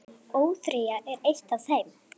ÓÞREYJA er eitt af þeim.